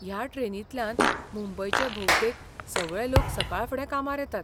ह्या ट्रेनींतल्यान मुंबयचे भोवतेक सगळे लोक सकाळफुडें कामार येतात.